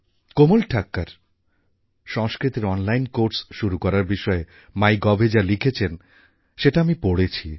কোমল ঠাক্কর সংস্কৃতের online course শুরু করার বিষয়ে mygovএ যা লিখেছেন সেটা আমি পড়েছি